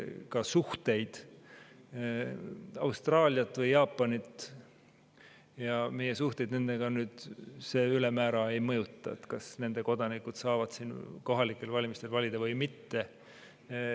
Meie suhteid Austraalia või Jaapaniga ülemäära ei mõjuta see, kas nende kodanikud saavad siin kohalikel valimistel valida või mitte.